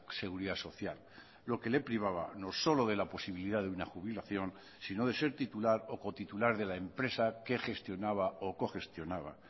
seguridad social lo que le privaba no solo de la posibilidad de una jubilación sino de ser titular o cotitular de la empresa que gestionaba o cogestionaba